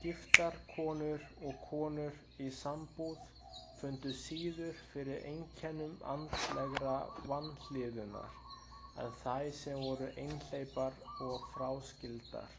Giftar konur og konur í sambúð fundu síður fyrir einkennum andlegrar vanlíðunar en þær sem voru einhleypar eða fráskildar.